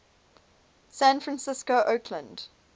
san francisco oakland